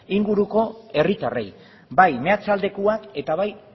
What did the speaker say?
inguruko herritarrei bai meatzaldekoak eta bai